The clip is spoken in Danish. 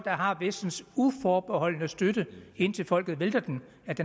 har vestens uforbeholdne støtte indtil folket vælter dem